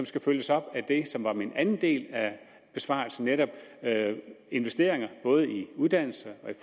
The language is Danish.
skal følges op af det som i min anden del af besvarelsen netop af investeringer i både uddannelse